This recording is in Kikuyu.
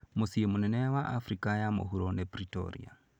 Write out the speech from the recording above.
Mũciĩ mũnene wa Afrika ya mũhuro nĩ Pretoria.